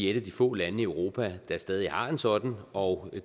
et af de få lande i europa der stadig har en sådan og